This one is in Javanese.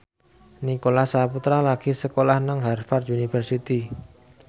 Nicholas Saputra lagi sekolah nang Harvard university